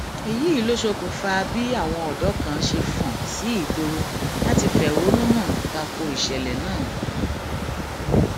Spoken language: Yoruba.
èyí ló ṣokùnfà bí àwọn ọdọ kan ṣe fọn sí ìgboro láti fẹhónú hàn ta ko ìṣẹlẹ náà